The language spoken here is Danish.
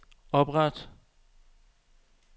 opret